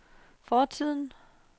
fortiden